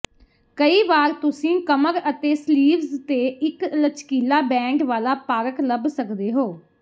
ਕਈ ਵਾਰ ਤੁਸੀਂ ਕਮਰ ਅਤੇ ਸਲੀਵਜ਼ ਤੇ ਇੱਕ ਲਚਕੀਲਾ ਬੈਂਡ ਵਾਲਾ ਪਾਰਕ ਲੱਭ ਸਕਦੇ ਹੋ